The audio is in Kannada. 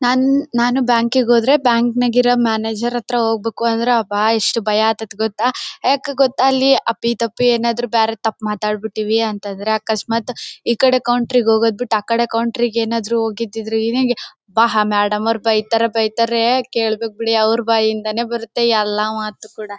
ನನ್ ನಾನು ಬ್ಯಾಕ್ ಗೆ ಹೋದ್ರೆ ಬ್ಯಾಂಕ್ ನಾಗ ಇರೋ ಮ್ಯಾನೇಜರ್ ಹತ್ರ ಹೋಗ್ಬೇಕು ಅಂದ್ರೆ ಆಬ್ಬಾ ಎಷ್ಟು ಭಯ ಆಗ್ತತ್ತೆ ಗೊತ್ತ ಯಾಕೆ ಗೊತ್ತ ಅಲ್ಲಿ ಅಪ್ಪಿ ತಪ್ಪಿ ಏನಾದರು ಬೇರೆದು ಮಾತಾಡ್ಬಿಟ್ಟಿವಿ ಅಂತ ಅಂದ್ರೆ ಅಕಸ್ಮಾತ್ ಈಕಡೆ ಕೌಂಟರ್ ಆಕಡೆ ಕೌಂಟರ್ ಗೆ ಏನಾದರು ಹೋಗಿದಿದ್ರೆ ಆಬ್ಬಾ ಆ ಮೇಡಂ ನವರು ಬೈತಾರೆ ಬೈತಾರೆ ಕೇಳ್ಬೇಕು ಬಿಡಿ ಅವರ ಬೈಯಿಂದಾನೆ ಬರುತ್ತೆ ಎಲ್ಲ ಮಾತ್ತು ಕೂಡ.